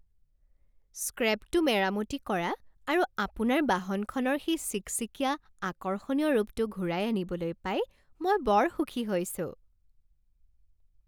স্ক্ৰেপটো মেৰামতি কৰা আৰু আপোনাৰ বাহনখনৰ সেই চিকচিকিয়া, আকৰ্ষণীয় ৰূপটো ঘূৰাই আনিবলৈ পাই মই বৰ সুখী হৈছোঁ!